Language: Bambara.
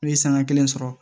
N'u ye sanga kelen sɔrɔ